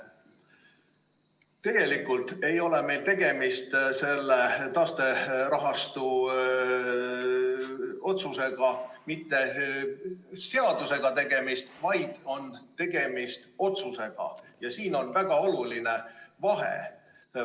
Tegelikult ei ole meil tegemist mitte seadusega, vaid tegemist on otsusega, ja siin on väga oluline vahe.